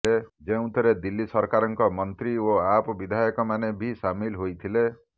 ଯେଉଁଥିରେ ଦିଲ୍ଲୀ ସରକାରଙ୍କ ମନ୍ତ୍ରୀ ଓ ଆପ୍ ବିଧାୟକମାନେ ବି ସାମିଲ ହୋଇଥିଲେ